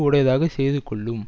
உடையதாக செய்து கொள்ளும்